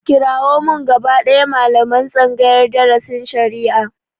Kirawo min gaba ɗaya malaman tsangayar darasin shari'a!